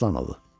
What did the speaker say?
Aslanovu.